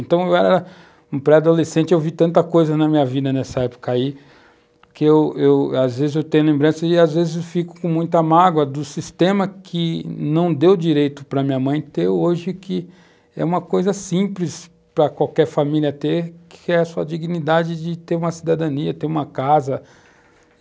Então, eu era um pré-adolescente, eu vi tanta coisa na minha vida nessa época aí, que eu eu, às vezes eu tenho lembrança e às vezes eu fico com muita mágoa do sistema que não deu direito para a minha mãe ter hoje, que é uma coisa simples para qualquer família ter, que é a sua dignidade de ter uma cidadania, ter uma casa.